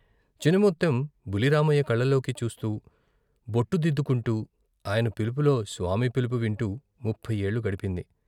చినముత్తెం బుల్లి రామయ్య కళ్ళలోకి చూస్తూ బొట్టుదిద్దుకుంటూ ఆయన పిలులో స్వామి పిలుపు వింటూ ముప్పయి ఏళ్లు గడిపింది.